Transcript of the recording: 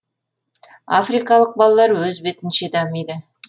африкалық балалар өз бетінше дамиды